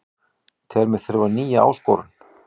Tel mig þurfa nýja áskorun